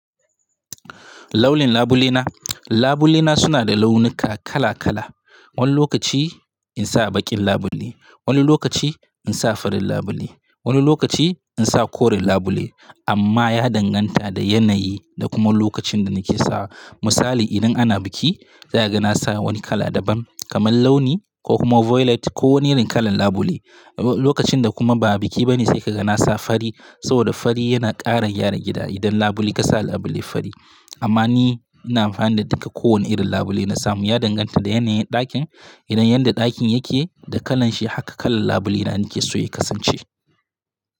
Launin labule na? Labule na suna da launuka kala kala. Wani lokaci in sa baƙin labule, wani lokaci in sa fari labule, wani lokaci in sa koren labule amma ya danganta da yanayi da kuma lokacin da nake sa. Misali idan ana biki za a ga na sa wani kala daban kamar launi ko kuma violet ko wani irin kalan labule. Lokacin da kuma ba biki bane sai ka ga na sa fari saboda fari yana ƙara gyara gida idan labule ka sa labule fari. Amma ni ina amfani da duka kowane irin labule na samu. Ya danganta da yanayin ɗakin. Idan yadda ɗakin yake da kalan shi haka kalan labule na nake so ya kasance.